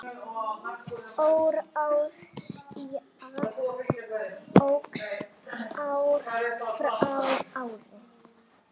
Óráðsía óx ár frá ári.